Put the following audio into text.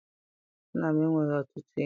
Nna m enweghị ọtụtụ enyi.